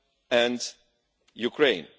and Ukraine.